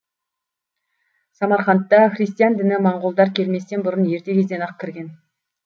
самарқандта христиан діні монғолдар келместен бұрын ерте кезден ақ кірген